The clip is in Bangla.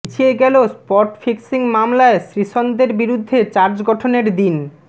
পিছিয়ে গেল স্পট ফিক্সিং মামলায় শ্রীসন্থদের বিরুদ্ধে চার্জ গঠনের দিন